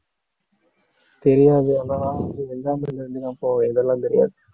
தெரியாது ஆனா இதெல்லாம் அப்போ இதெல்லாம் தெரியாது